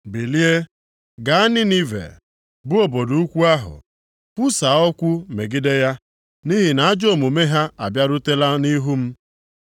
“Bilie, gaa Ninive, bụ obodo ukwu ahụ, kwusaa okwu megide ya, nʼihi na ajọ omume ha abịarutela nʼihu m.”